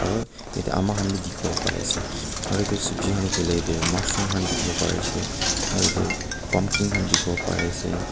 aru ete ama khan bi dikhi wo pari ase aru etu sopji khan koi le mushroom khan dikhi wo pari ase aru ete pumpkin khan dikhi wo pari ase.